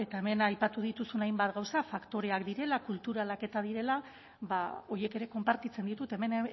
eta hemen aipatu dituzun hainbat gauza faktoreak direla kulturalak eta direla ba horiek ere konpartitzen ditut hemen